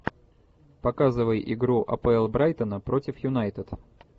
показывай игру апл брайтона против юнайтед